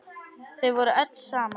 Þau voru öll saman.